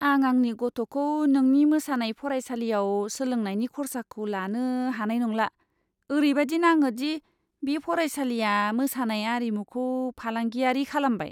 आं आंनि गथ'खौ नोंनि मोसानाय फरायसालियाव सोलोंनायनि खर्साखौ लानो हानाय नंला! ओरैबादि नाङो दि बे फरायसालिआ मोसानाय आरिमुखौ फालांगियारि खालामबाय!